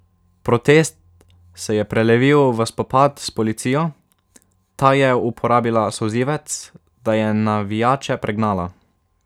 Protest se je prelevil v spopad s policijo, ta je uporabila solzivec, da je navijače pregnala.